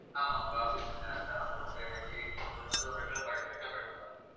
ஆமா உங்க office க்கு direct ஆ வந்து உங்க age உங்களுக்கு வந்து ஒரு regular body checkup எடுப்பாங்க